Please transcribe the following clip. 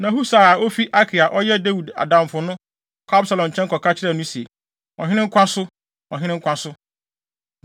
Na Husai a ofi Arki a ɔyɛ Dawid adamfo no, kɔɔ Absalom nkyɛn kɔka kyerɛɛ no se, “Ɔhene nkwa so! Ɔhene nkwa so!”